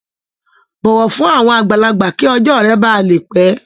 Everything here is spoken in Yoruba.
Bọwọ fun awọn agbalagba ki ọjọ rẹ ba le pẹ!